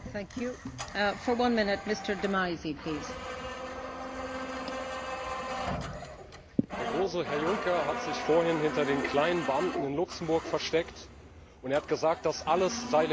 Frau Präsidentin! Der große Herr Juncker hat sich vorhin hinter den kleinen Beamten in Luxemburg versteckt, und er hat gesagt, das alles sei legal gewesen.